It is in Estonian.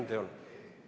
Korda palun küsimust.